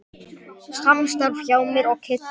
Samstarf hjá mér og Kidda?